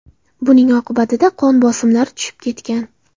Buning oqibatida qon bosimlari tushib ketgan.